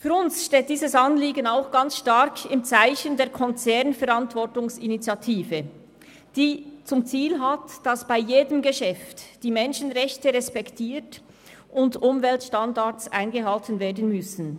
Für uns steht dieses Anliegen auch sehr stark im Zeichen der «Konzernverantwortungsinitiative», die zum Ziel hat, dass bei jedem Geschäft die Menschenrechte respektiert und Umweltstandards eingehalten werden müssen.